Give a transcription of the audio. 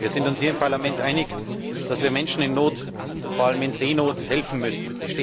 Wir sind uns hier im Parlament einig, dass wir Menschen in Not, vor allem in Seenot, helfen müssen.